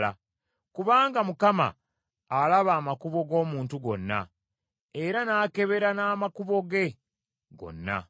Kubanga Mukama alaba amakubo g’omuntu gonna, era n’akebera n’amakubo ge gonna.